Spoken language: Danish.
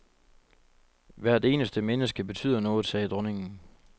Hvert eneste menneske betyder noget, sagde dronningen.